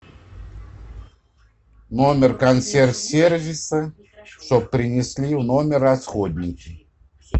номер консьерж сервиса чтобы принесли в номер расходники